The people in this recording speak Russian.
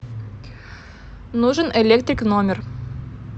нужен электрик в номер